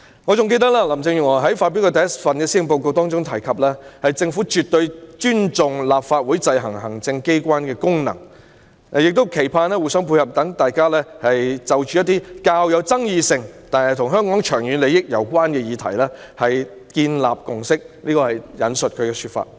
我還記得林鄭月娥發表的第一份施政報告提及，："政府絕對尊重立法會制衡行政機關的功能，但也期盼互相配合，讓大家有機會就着一些較有爭議性但與香港長遠利益攸關的議題建立共識"，這是她的說法。